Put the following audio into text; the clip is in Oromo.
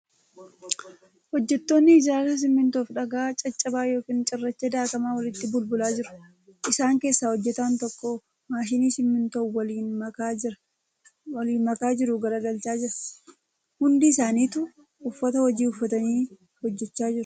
Hojjattoonni ijaarsaa simintoo fi dhagaa caccabaa yookin cirracha daakamaa walitti bulbulaa jiru. Isaan keessa hojjataan tokko maashina simintoo waliin makaa jiru garagalchaa jira . Hundi isaanituu uffata hojii uffatanii hojjachaa jiru.